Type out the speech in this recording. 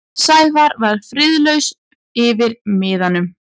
Sævar var friðlaus yfir miðanum.